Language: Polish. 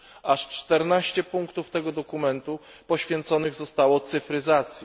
Aż 14 punktów tego dokumentu poświęconych zostało cyfryzacji.